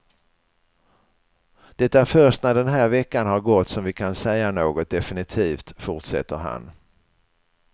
Det är först när den här veckan har gått som vi kan säga något definitivt, fortsätter han.